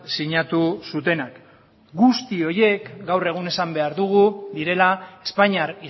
sinatu zutenak guzti horiek gaur egun esan behar dugu direla espainiar